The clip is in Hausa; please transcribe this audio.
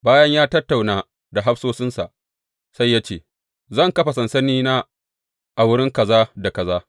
Bayan ya tattauna da hafsoshinsa, sai ya ce, Zan kafa sansanina a wurin kaza da kaza.